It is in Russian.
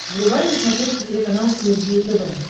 врубай на смотрешке телеканал синергия тв